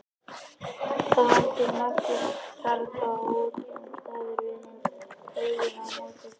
Það hangir máttlaus karfa á útkrotuðum staur við hinn vegginn á móti tunnunum.